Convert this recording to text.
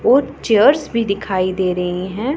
और चेयर्स भी दिखाई दे रही हैं।